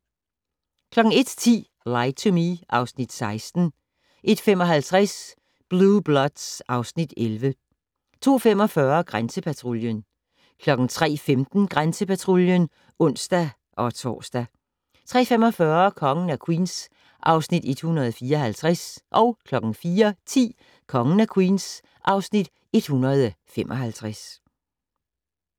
01:10: Lie to Me (Afs. 16) 01:55: Blue Bloods (Afs. 11) 02:45: Grænsepatruljen 03:15: Grænsepatruljen (ons-tor) 03:45: Kongen af Queens (Afs. 154) 04:10: Kongen af Queens (Afs. 155)